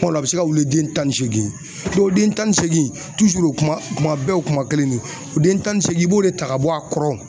dɔ la a bi se ka wuli den tan ni seegin den tan ni seegin in kuma kuma bɛɛ o kuma kelen nin o den tan ni seegin in i b'o de ta ka bɔ a kɔrɔ.